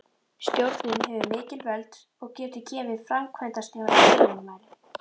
Stjórnin hefur mikil völd og getur gefið framkvæmdastjóra fyrirmæli.